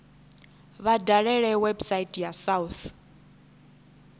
vha dalele website ya south